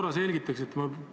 Kas te selgitaksite järgmist asja.